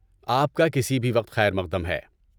آپ کا کسی بھی وقت خیر مقدم ہے!